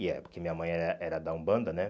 E é, porque minha mãe era era da Umbanda, né?